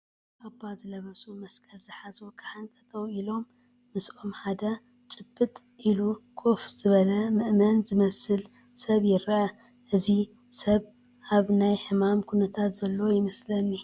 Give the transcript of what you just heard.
ካባ ዝለበሱ፣ መስቀል ዝሓዙ ካህን ጠጠው ኢሎም ምስኦም ሓደ ጭብጥ ኢሎ ኮፍ ዝበለ ምእመን ዝመስል ሰብ ይርአ፡፡ እዚ ሰብ ኣብ ናይ ሕማም ኩነታት ዘሎ ይመስለኒ፡፡